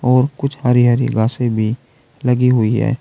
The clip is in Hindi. और कुछ हरी हरी घासे भी लगी हुई है।